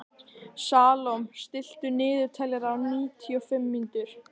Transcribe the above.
Salome, stilltu niðurteljara á níutíu og fimm mínútur.